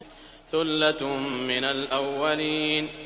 ثُلَّةٌ مِّنَ الْأَوَّلِينَ